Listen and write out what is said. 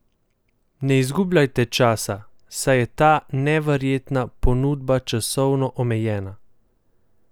Ne izgubljajte časa, saj je ta neverjetna ponudba časovno omejena!